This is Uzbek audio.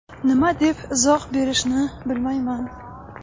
Nima deb izoh berishni bilmayman.